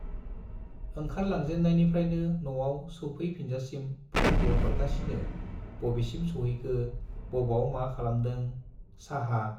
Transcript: ओंखारलांजेननायनिफ्रायनो नआव सौफै फिनजासिम फ'नबो हरगासिनो बबेसिम सौहैखो, बबाव मा खालामदों, चाहा